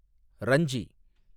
Ranji